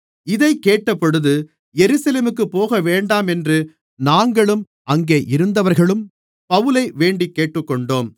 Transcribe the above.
இதைக் கேட்டபொழுது எருசலேமுக்குப் போகவேண்டாமென்று நாங்களும் அங்கே இருந்தவர்களும் பவுலை வேண்டிக் கேட்டுக்கொண்டோம்